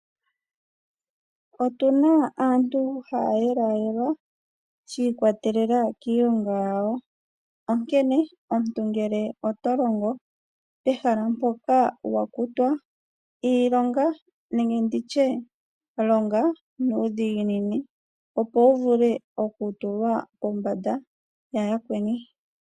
Otuna aantu haya yelwayelwa shiikwatelela kiilonga yawo onkene omuntu ngele oto longo pehala mpoka wakutwa, iilonga nenge nditye longa nuudhiginini opo wuvulwe okutulwa pombanda ya yakweni.